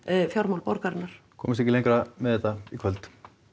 fjármál borgarinnar komumst ekki lengra með þetta í kvöld